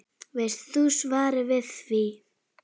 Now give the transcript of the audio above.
Veist þú svarið við því?